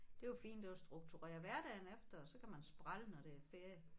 Det er jo fint at strukturere hverdagen efter og så kan man sprælle når det er ferie